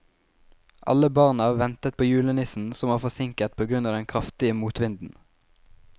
Alle barna ventet på julenissen, som var forsinket på grunn av den kraftige motvinden.